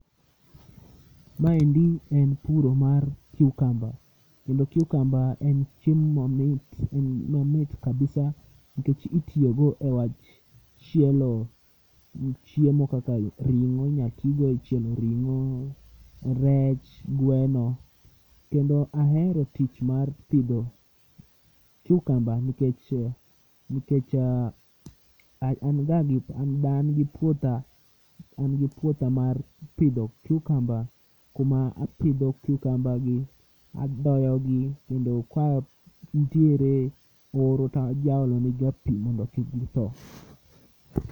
Maendi en puro mar cucumber, kendo cucumber en chiemo mamit, mmh mamit kabisa, Nikech itiyogo e wach chiel gik chiemo kaka ring'o, inyal tigo e chielo ring'o, rech, gweno, kendo ahero tich mar pidho cucumber nikech, nikecha an dangi an gi puotha mar pidho cucumber, Kuma apidho cucumber gi, adoyo gi, kendo kantiere oro to ajaolonegi pi mondo kik githo.